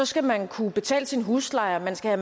skal man kunne betale sin husleje man skal